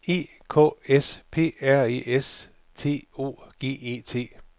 E K S P R E S T O G E T